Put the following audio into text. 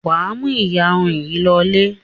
Wà á mú ìyarun yìí lọlé.